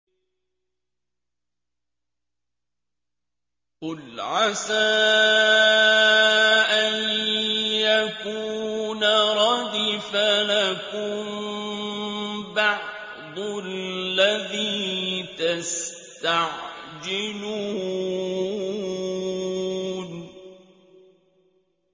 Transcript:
قُلْ عَسَىٰ أَن يَكُونَ رَدِفَ لَكُم بَعْضُ الَّذِي تَسْتَعْجِلُونَ